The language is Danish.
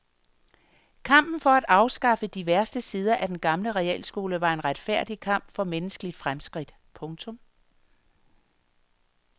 Kampen for at afskaffe de værste sider af den gamle realskole var en retfærdig kamp for menneskeligt fremskridt. punktum